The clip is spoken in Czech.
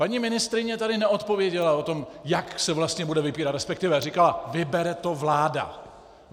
Paní ministryně tady neodpověděla na to, jak se vlastně bude vybírat, respektive říkala: Vybere to vláda.